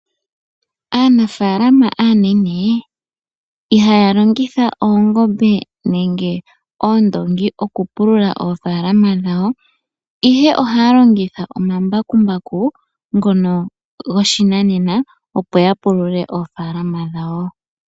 Aanafalama aanene, ihaya longitha oongombe nenge oondongi okupulula oofalama dhawo, ihe ohaya longitha omambakumbaku ngono goshinanena opo ya pulule oofalama dhawo.